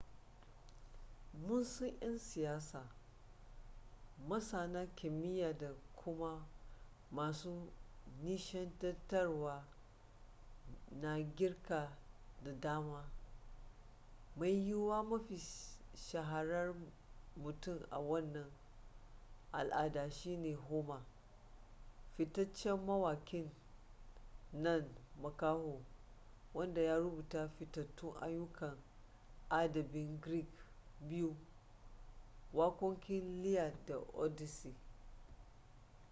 mun san 'yan siyasa masana kimiyya da kuma masu nishaɗantarwa na girka da dama mai yiwuwa mafi shaharar mutum a wannan al'ada shi ne homer fitaccen mawakin nan makaho wanda ya rubuta fitattun ayyukan adabin greek biyu waƙoƙin iliad da odyssey